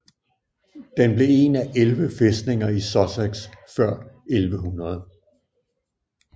Den blev en af 11 fæstninger i Sussex før 1100